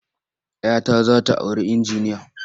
Ya ta za ta auri injiniya.